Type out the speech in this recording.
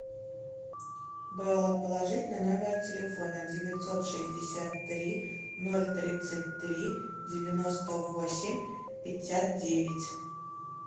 бэлла положить на номер телефона девятьсот шестьдесят три ноль тридцать три девяносто восемь пятьдесят девять